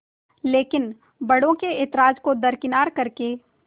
लेकिन बड़ों के ऐतराज़ को दरकिनार कर के